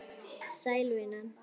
Sæl, vinan.